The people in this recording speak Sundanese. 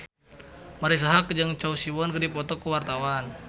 Marisa Haque jeung Choi Siwon keur dipoto ku wartawan